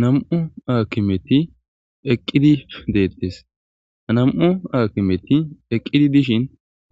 nam'u akimeti eqqidi deettes nam7o aakimeti eqqidi dishin